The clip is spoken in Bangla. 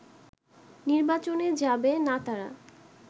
নির্বাচনে যাবে নাতারা